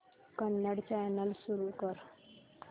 Kannada channel सुरू कर